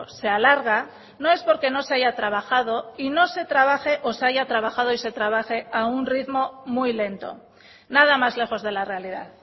se alarga no es porque no se haya trabajado y no se trabaje o se haya trabajado y se trabaje a un ritmo muy lento nada más lejos de la realidad